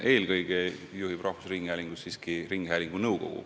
Eelkõige juhib rahvusringhäälingut siiski ringhäälingu nõukogu.